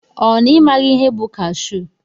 Ọ na imaghi ihe bụ kashu?